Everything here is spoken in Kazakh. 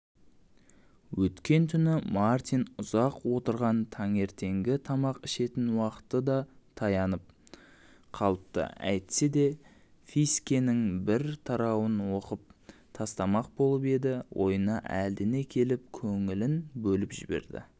өткен түні мартин ұзақ отырған таңертеңгі тамақ ішетін уақыты да таянып қалыпты әйтсе де фискенің бір тарауын оқып тастамақ болып еді ойына әлдене келіп көңілін бөліп жіберді